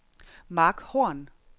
Marc Horn